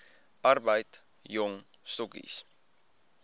arbeid jong stokkies